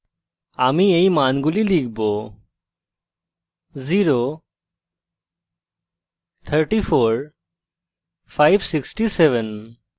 আমি এই মানগুলি লিখব